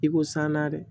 I ko san na dɛ